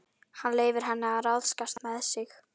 Hann leyfir henni að ráðskast með sig.